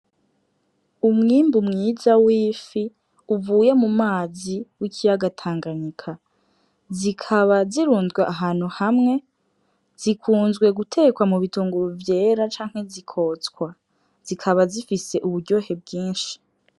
Umwimbu mwiza w'ifi uvuye mu mazi w'ikiyaga tanganyika, zikaba zirunzwe ahantu hamwe, zikunzwe gutekwa mu bitunguru vyera canke zikotswa zikaba zifise uburyohe mbwinshi.